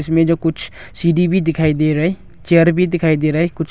इसमें जो कुछ सीढ़ी भी दिखाई दे रहा है चेयर भी दिखाई दे रहा है कुछ--